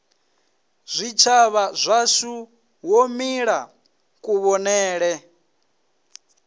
zwitshavha zwashu wo mila kuvhonele